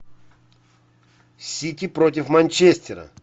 сити против манчестера